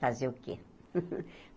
Fazer o quê?